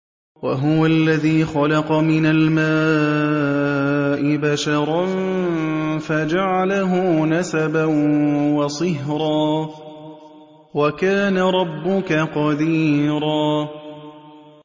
وَهُوَ الَّذِي خَلَقَ مِنَ الْمَاءِ بَشَرًا فَجَعَلَهُ نَسَبًا وَصِهْرًا ۗ وَكَانَ رَبُّكَ قَدِيرًا